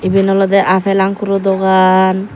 eben olodey appel ankurp dogaan.